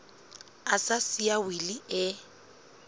a sa siya wili e